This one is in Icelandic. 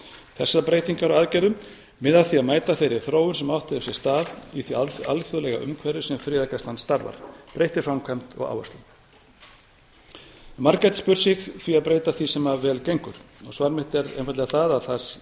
þessar breytingar á aðgerðum miða að því að mæta þeirri þróun sem átt hefur sér stað í því alþjóðlega umhverfi sem friðargæslan starfar í breyttri framkvæmd og áherslum margir gætu spurt sig því að breyta því sem vel gengur svar mitt er einfaldlega það að það